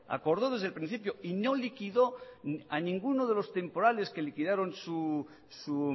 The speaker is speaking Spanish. acordó desde el principio y no liquidó a ninguno de los temporales que liquidaron su